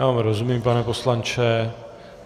Já vám rozumím, pane poslanče.